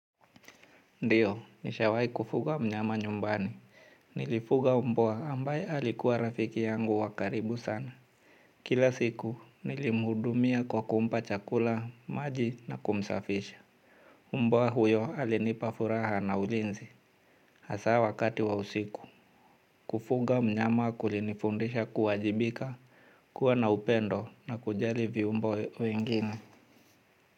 Ndio, nishawai kufuga mnyama nyumbani. Nilifuga mbwa ambaye alikuwa rafiki yangu wa karibu sana. Kila siku, nilimhudumia kwa kumpa chakula, maji na kumsafisha. Mbwa huyo alinipa furaha na ulinzi. Hasaa wakati wa usiku. Kufuga mnyama kulinifundisha kuwajibika, kuwa na upendo na kujali viumbwa wengine.